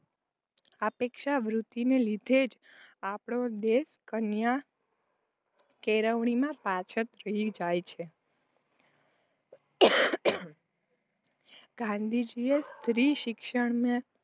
ઉપેક્ષાવૃત્તિને લીધે જ આપણો દેશ કન્યા કેળવણીમાં પછાત રહી જાય છે. ગાંધીજીએ સ્ત્રીશિક્ષણને